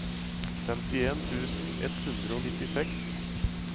femtien tusen ett hundre og nittiseks